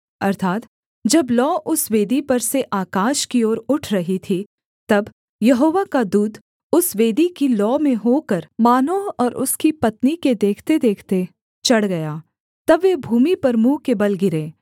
अर्थात् जब लौ उस वेदी पर से आकाश की ओर उठ रही थी तब यहोवा का दूत उस वेदी की लौ में होकर मानोह और उसकी पत्नी के देखतेदेखते चढ़ गया तब वे भूमि पर मुँह के बल गिरे